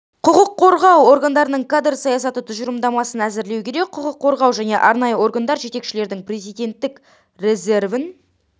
құқық қорғау органдарының кадр саясаты тұжырымдамасын әзірлеу керек құқық қорғау және арнайы органдар жетекшілерінің президентік резервін